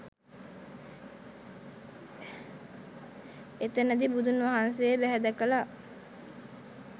එතනදි බුදුන් වහන්සේ බැහැ දැකලා